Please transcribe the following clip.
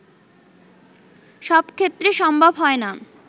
সবক্ষেত্রে সম্ভব হয়না